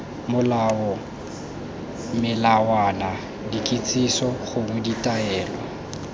molao melawana dikitsiso gongwe ditaelo